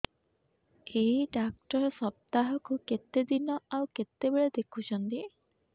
ଏଇ ଡ଼ାକ୍ତର ସପ୍ତାହକୁ କେତେଦିନ ଆଉ କେତେବେଳେ ଦେଖୁଛନ୍ତି